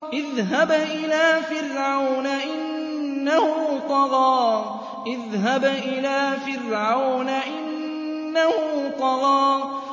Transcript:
اذْهَبْ إِلَىٰ فِرْعَوْنَ إِنَّهُ طَغَىٰ